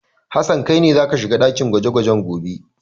Hassan kai ne za ka shiga dakin gwaje-gwaje gobe!